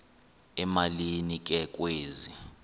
emalini ke kwezi